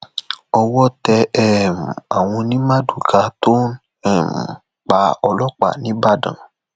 owó tẹ um àwọn ọnì mardukà tó um pa ọlọpàá nìbàdàn